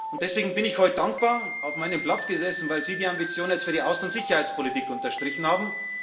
hat. Und deswegen bin ich heute dankbar auf meinem Platz gesessen, weil Sie die Ambition für die Außen und Sicherheitspolitik unterstrichen haben.